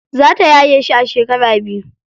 Za ta yaye shi a shekara biyu.